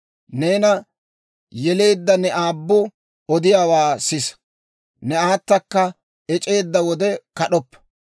Neena yeleedda ne aabbu odiyaawaa sisa; ne aatakka ec'eedda wode kad'oppa.